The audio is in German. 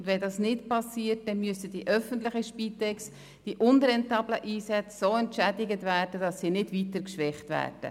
Wenn dies nicht geschieht, müssen die öffentlichen Spitex-Organisationen für die unrentablen Einsätze so entschädigt werden, dass sie nicht weiter geschwächt werden.